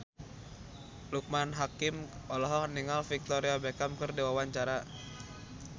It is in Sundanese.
Loekman Hakim olohok ningali Victoria Beckham keur diwawancara